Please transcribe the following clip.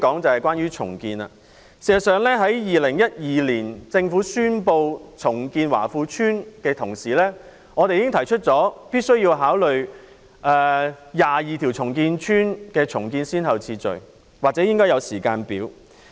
政府2012年宣布重建華富邨時，我們已經提出必須考慮重建22條屋邨的先後次序，或應該訂立時間表。